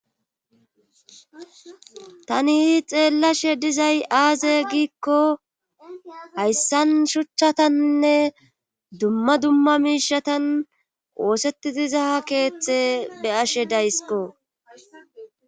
Taniihi xeellashe dizay aaze giikko hayssan shuchchatannne dumma dumma miishatan oosetti dizaa keeththe be ashe daysiko.